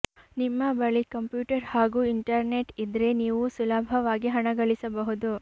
ನಿಮ್ಮ ಬಳಿ ಕಂಪ್ಯೂಟರ್ ಹಾಗೂ ಇಂಟರ್ನೆಟ್ ಇದ್ರೆ ನೀವೂ ಸುಲಭವಾಗಿ ಹಣ ಗಳಿಸಬಹುದು